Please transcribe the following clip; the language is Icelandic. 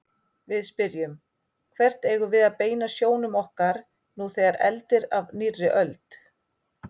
Við spyrjum: Hvert eigum við að beina sjónum okkar nú þegar eldir af nýrri öld?